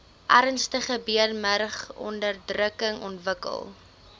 ernstige beenmurgonderdrukking ontwikkel